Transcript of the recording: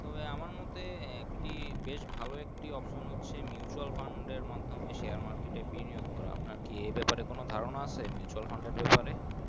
তো আমার মোতে আহ বেশ ভালো একটি Option আছে Mutual Fund এর মাধ্যমে Share market এ বিনিয়োগ করা আমের কি এ ব্যাপারএ কোনো ধার না আছে Mutual Fund এর ব্যাপারে।